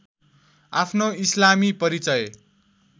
आफ्नो इस्लामी परिचय